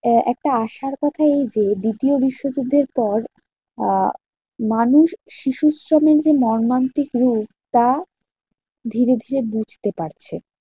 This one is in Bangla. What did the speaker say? আহ একটা আশার কথা এই যে, দ্বিতীয় বিশ্বযুদ্ধের পর আহ মানুষ শিশুশ্রমের মর্মান্তিক রূপ তা ধীরে ধীরে বুঝতে পারছে।